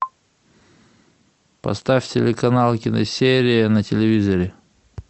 поставь телеканал киносерия на телевизоре